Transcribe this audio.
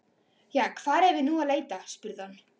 Jæja, hvar eigum við nú að leita? spurði hann.